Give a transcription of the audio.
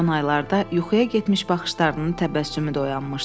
Son aylarda yuxuya getmiş baxışlarının təbəssümü də oyanmışdı.